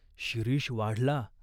शिरीष वाढला.